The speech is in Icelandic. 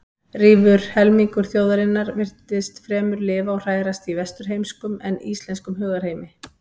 Rífur helmingur þjóðarinnar virtist fremur lifa og hrærast í vesturheimskum en íslenskum hugarheimi.